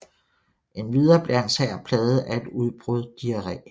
Endvidere blev hans hær plaget af et udbrud diarré